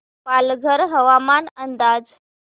पालघर हवामान अंदाज